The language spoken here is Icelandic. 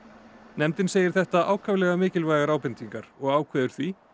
nefndin segir þetta ákaflega mikilvægar ábendingar og ákveður því